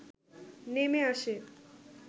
নেমে আসে